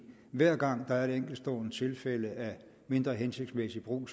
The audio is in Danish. hver gang der er et enkeltstående tilfælde af mindre hensigtsmæssig brug